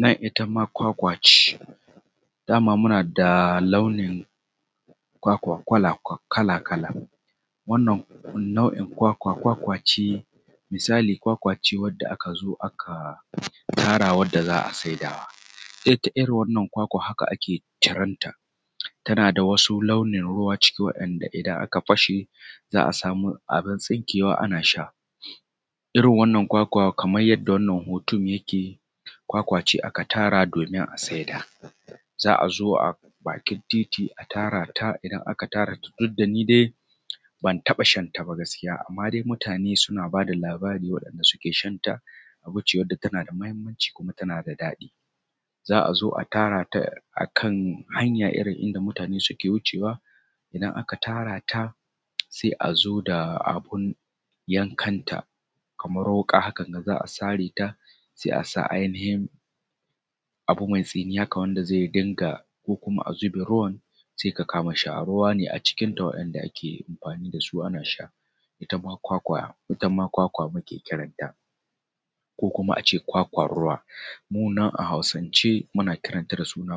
Nan ita ma kwakwa ce. Dama muna da launin kwakwa kala kala wannan nau'in kwakwa, kwakwace misali kwakwa ce wadda aka zo aka tara za a sidawa, ita irin wannan kwakwa haka ake ciran ta, tana da wasu launin ruwa ciki wa'inda idan aka fashe za a samu abu tsinkewa ana sha. Irin wannan kwakwa kamar yanda wannan hoton yake kwakwa ce aka tara domin a saida, za a zo bakin titi a tara ta, idan aka tara ta duk da ni dai ban taɓa shan ta ba gaskiya, amma dai mutane suna ba da labari wa'inda suke shanta abu ce tana da mahinmanci kuma tana da daɗi. Za a zo a tara ta a kan hanya irin inda mutane suke wucewa idan aka tara ta sai a zo da abin yankanta kamar wuka hakan ga za a sare ta sai a sa ainihin abu mai tsinin haka wanda zai dinga ko kuma a zube ruwan sai ka kama sha. Ruwa ne a cikinta wa'inda ake amfanin da su ana sha. Ita ma kwakwa muke kiranta ko kuma a ce kwakwan ruwa, mu nan a hausance muna kiranta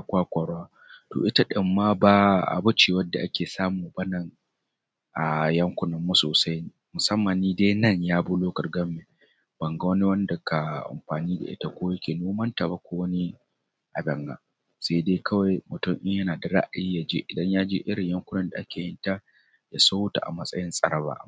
kwakwan ruwa. To ita ɗin ma ba abu ce wanda ake samu ba nan a yankunan mu sosai musamman ni dai nan yab local government ban ga wani wanda yake amfani da ita ba ko yake nomanta ba ko wani abu abun nan. Sai dai kawai mutun idan yana da ra’ayi idan ya je yakuna da ake yinta ya siyota a matsayin tsaraba.